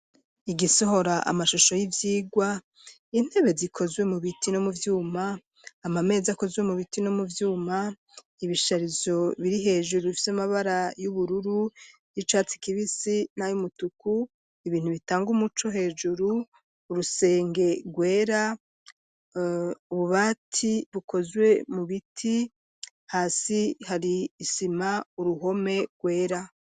Igisohora amashusho y'ivyigwa intebe zikozwe mu biti no mu vyuma ama mezi akozwe mu biti no mu byuma ibisharizo biri hejuru ifs amabara y'ubururu y'icatse kibisi nay'umutuku ibintu bitanga umuco hejuru urusenge rwera ububati bukozwe mu biti hasi hari isima uruhome rwera.